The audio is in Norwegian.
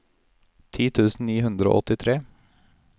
ti tusen ni hundre og åttitre